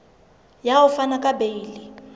ya ho fana ka beile